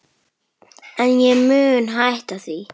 En ég mun hætta því.